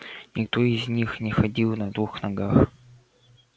никто из них не ходил на двух ногах